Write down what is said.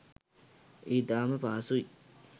ඉතාම පහසුයි